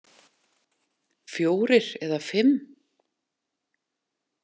Fjórir eða fimm!